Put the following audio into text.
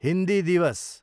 हिन्दी दिवस